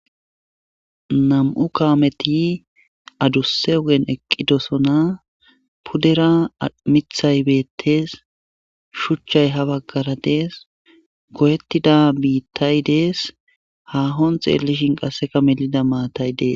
Nam'u kaameti adusse ogen eqqidosona puddera mithay beettes shuchchay ha baggara dees goyettida biittay dees hahon xeellishin qasseka melida maatay dees.